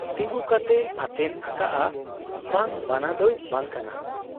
ᱛᱤᱸᱜᱩ ᱠᱟᱛᱮᱭ ᱟᱛᱮᱱ ᱟᱠᱟᱜ ᱟ ᱾ ᱵᱟᱝ ᱵᱟᱱᱟ ᱫᱚᱭ ᱵᱟᱝ ᱠᱟᱱᱟ ᱾